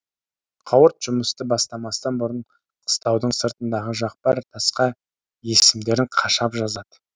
қауырт жұмысты бастамастан бұрын қыстаудың сыртындағы жақпар тасқа есімдерін қашап жазады